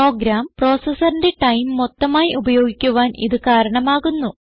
programme processors time മൊത്തമായി ഉപയോഗിക്കുവാൻ ഇത് കാരണമാകുന്നു